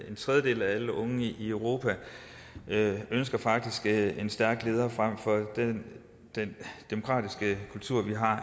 en tredjedel af alle unge i europa ønsker faktisk en stærk leder frem for den den demokratiske kultur vi har